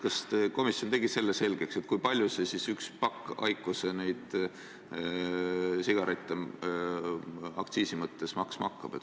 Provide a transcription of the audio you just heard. Kas komisjon tegi selgeks, kui palju üks pakk IQOS-e sigarette aktsiisi tõttu maksma hakkab?